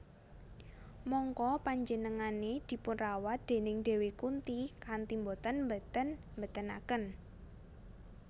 Mangka penjenengane dipunrawat déning Dewi Kunti kanthi boten mbenten bentenaken